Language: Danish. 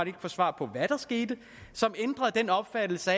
ikke få svar på hvad der skete som ændrede den opfattelse